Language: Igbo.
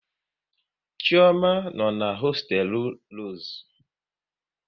Chioma no n'hosteelu Rosu